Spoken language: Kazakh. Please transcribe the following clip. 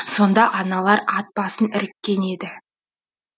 сонда аналар ат басын іріккен еді